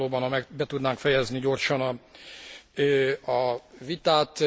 Jó lenne valóban, ha be tudnánk fejezni gyorsan a vitát.